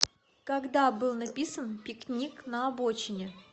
когда был написан пикник на обочине